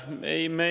Aitäh!